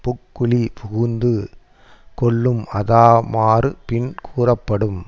புக்குழிப் புகுந்து கொல்லும் அஃதாமாறு பின் கூறப்படும்